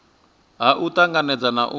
ha u tanganedza na u